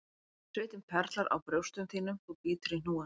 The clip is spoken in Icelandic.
Svitinn perlar á brjóstum þínum þú bítur í hnúann,